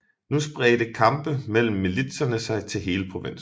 Nu spredte kampe mellem militserne sig til hele provinsen